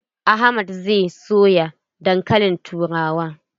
Ahmad zai soya dankalin turawa.